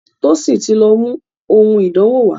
Tosin tí lọ mú òun ìdánwò wá.